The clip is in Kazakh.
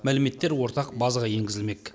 мәліметтер ортақ базаға енгізілмек